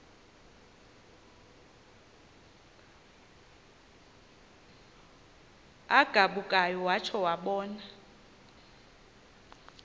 agabukayo watsho wabona